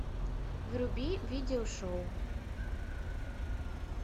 вруби видеошоу